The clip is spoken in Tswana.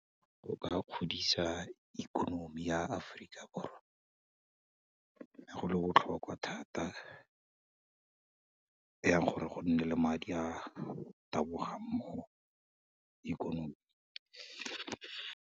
Go ka godisa ikonomi ya Aforika Borwa, ne go le botlhokwa thata yang gore go nne le madi a a tabogang mo ikonomi.